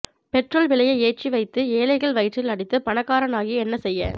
petrol விலையை ஏற்றி வைத்து ஏழைகள் வயிற்றில் அடித்து பணக்காரனாகி என்ன செய்ய